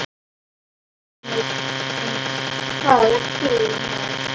Jóhannes: En hvað ert þú með?